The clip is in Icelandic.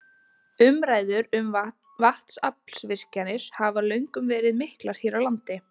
Umræður um vatnsaflsvirkjanir hafa löngum verið miklar hér á landi.